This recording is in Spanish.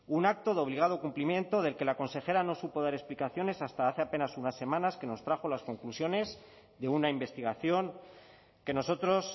un acto de obligado cumplimiento del que la consejera no supo dar explicaciones hasta hace apenas unas semanas que nos trajo las conclusiones de una investigación que nosotros